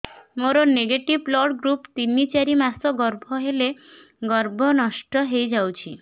ମୋର negative blood group ତିନ ଚାରି ମାସ ଗର୍ଭ ହେଲେ ଗର୍ଭ ନଷ୍ଟ ହେଇଯାଉଛି